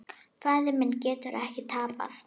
Faðir minn getur ekki tapað.